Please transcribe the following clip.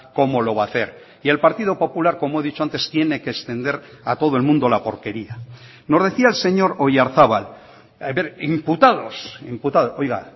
cómo lo va a hacer y el partido popular como he dicho antes tiene que extender a todo el mundo la porquería nos decía el señor oyarzabal a ver imputados imputados oiga